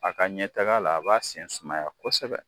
A ka ɲɛtaga la a b'a sen sumaya kosɛbɛ.